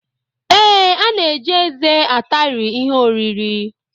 Ee, a na-eji eze atari ihe oriri